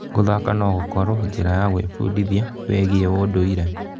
Gũthaka no gũkorwo njĩra ya gwĩbundithia wĩgiĩ ũndũire?